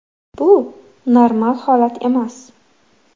Bu normal holat emas.